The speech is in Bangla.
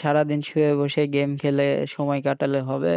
সারাদিন শুয়ে বসে থাকা হয় গেম খেলে হয় বসে সময় কাটালে হবে